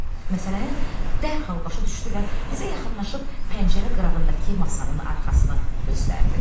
Məsələni dərhal başa düşdü və bizə yaxınlaşıb pəncərə qırağındakı masanın arxasını göstərdi.